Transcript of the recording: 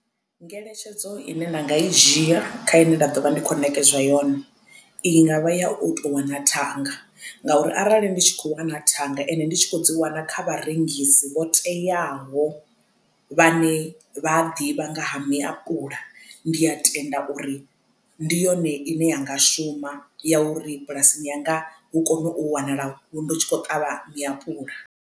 Ngeletshedzo ine nda nga i dzhia kha ine nda ḓo vha ndi khou ṋekedzwa yone i ngavha ya u tou wana thanga ngauri arali ndi tshi kho wana thanga ende ndi tshi kho dzi wana kha vharengisi vho teaho vhane vhaa ḓivha nga ha miapuḽa ndi a tenda uri ndi yone ine ya nga shuma ya uri bulasini yanga hu kone u wanala ndi tshi khou ṱavha miapuḽa.